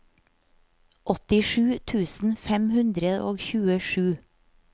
åttisju tusen fem hundre og tjuesju